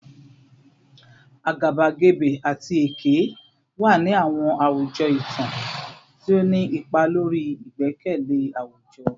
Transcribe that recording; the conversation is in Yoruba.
Agabagebe ati eke wa ni awọn awujọ itan, ti o ni ipa lori igbẹkẹle awujọ